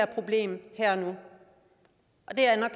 problem med